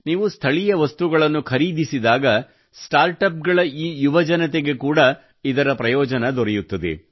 ನೀವು ಸ್ಥಳೀಯ ವಸ್ತುಗಳನ್ನು ಖರೀದಿಸಿದಾಗ ಸ್ಮಾರ್ಟ್ ಆಪ್ ಗಳು ಈ ಯುವಜನತೆಗೆ ಕೂಡಾ ಇದರ ಪ್ರಯೋಜನ ದೊರೆಯುತ್ತದೆ